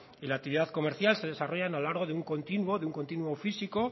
y la actividad comercial se desarrollan a lo largo de un continuo de un continuo físico